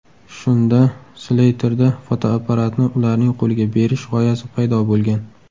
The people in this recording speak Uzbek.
Shunda Sleyterda fotoapparatni ularning qo‘liga berish g‘oyasi paydo bo‘lgan.